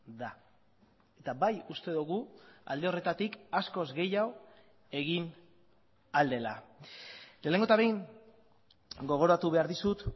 da eta bai uste dugu alde horretatik askoz gehiago egin ahal dela lehenengo eta behin gogoratu behar dizut